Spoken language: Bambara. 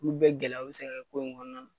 Olu bɛɛ gɛlɛya b e se ka kɛ ko in kɔnɔna na.